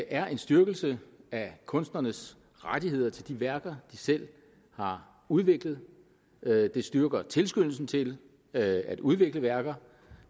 er en styrkelse af kunstnernes rettigheder til de værker de selv har udviklet det styrker tilskyndelsen til at udvikle værker